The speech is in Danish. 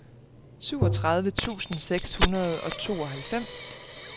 syvogtredive tusind seks hundrede og tooghalvfems